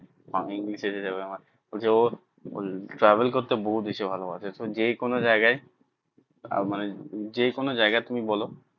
travel করতে বহুত বেশি ভালোবাসে যে কোনো জায়গায় মানে যে কোনো জায়গায় তুমি বলো